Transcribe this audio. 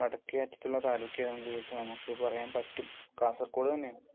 വടക്കേ അറ്റത്തുള്ള താലൂക്ക് ഏതാണെന്ന് ചോദിച്ചാൽ നമുക്ക് പറയാൻ പറ്റും കാസർഗോഡ് തന്നെയാണ്.